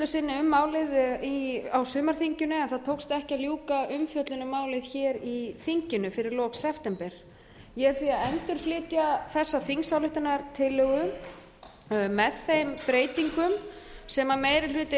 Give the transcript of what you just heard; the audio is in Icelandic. sinni um málið á sumarþinginu en það tókst ekki að ljúka umfjöllun um málið hér í þinginu fyrir lok september ég er því að endurflytja þessa þingsályktunartillögu með þeim breytingum sem meiri hluti